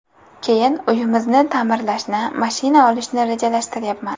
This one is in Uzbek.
Keyin uyimizni ta’mirlashni, mashina olishni rejalashtiryapman.